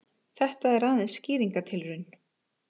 Þetta er aðeins skýringartilraun.